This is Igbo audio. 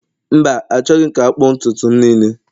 mba, Achọghị m ka akpụ ntutu m niile